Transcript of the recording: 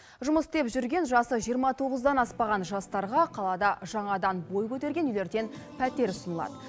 жұмыс істеп жүрген жасы жиырма тоғыздан аспаған жастарға қалада жаңадан бой көтерген үйлерден пәтер ұсынылады